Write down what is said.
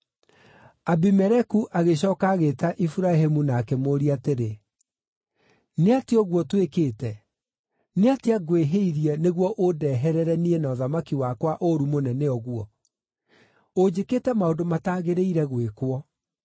Abimeleku agĩcooka agĩĩta Iburahĩmu na akĩmũũria atĩrĩ, “Nĩ atĩa ũguo ũtwĩkĩte? Nĩ atĩa ngwĩhĩirie, nĩguo ũndeherere niĩ na ũthamaki wakwa ũũru mũnene ũguo? Ũnjĩkĩte maũndũ mataagĩrĩire gwĩkwo.”